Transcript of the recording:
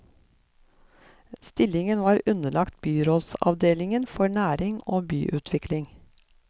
Stillingen er underlagt byrådsavdelingen for næring og byutvikling.